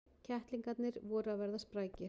Kettlingarnir voru að verða sprækir.